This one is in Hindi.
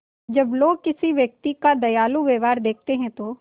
जब लोग किसी व्यक्ति का दयालु व्यवहार देखते हैं तो